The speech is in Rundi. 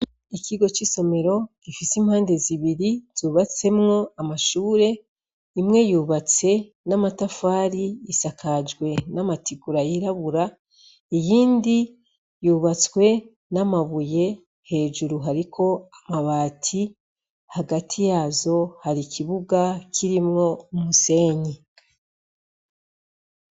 Ikigo c'isomero gifise imbande zibiri cubatsemwo amashure imwe yubatse n'amatafari isakajwe n'amategura yirabura, iyindi yubatswe n'amabuye hejuru hariko amabati, hagati yazo har'ikibuga kirimwo umusenyi.